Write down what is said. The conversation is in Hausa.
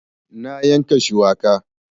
Na yanka shuwaka